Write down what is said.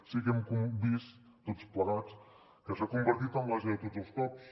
sí que hem vist tots plegats que s’ha convertit en l’ase de tots els cops